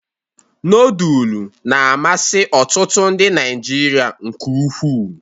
Nodulu na-amasị ọtụtụ ndị Naịjirịa nke ukwuu.